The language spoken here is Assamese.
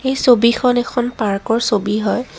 এই ছবিখন এখন পাৰ্কৰ ছবি হয়।